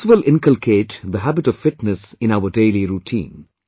This will inculcate the habit of fitness in our daily routine